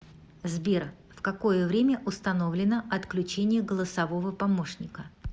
сбер в какое время установлено отключение голосового помощника